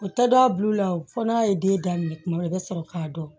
O taa dɔ a bul'u la o fɔ n'a ye den daminɛ kuma dɔw la i bɛ sɔrɔ k'a dɔn